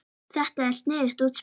Er þetta sniðugt útspil?